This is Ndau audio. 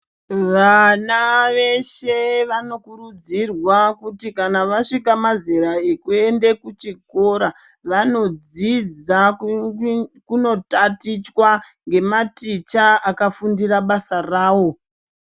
Vana veshe vanokurudzirwe kuti kana vasvika mazera ekuenda kuchikora vanodzidza kunotatichwa ngematicha akafundira basa rawo.